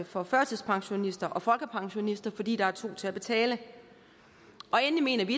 for førtidspensionister og folkepensionister fordi der er to til at betale endelig mener vi